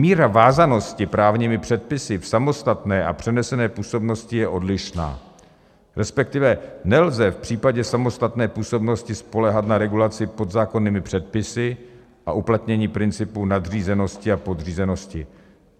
Míra vázanosti právními předpisy v samostatné a přenesené působnosti je odlišná, respektive nelze v případě samostatné působnosti spoléhat na regulaci podzákonnými předpisy a uplatnění principu nadřízenosti a podřízenosti.